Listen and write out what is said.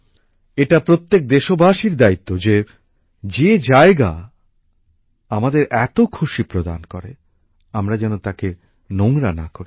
এটা প্রত্যেক দেশবাসীর দায়িত্ব যে যে জায়গা আমাদের এত আনন্দ দেয় আমরা যেন তাকে নোংরা না করি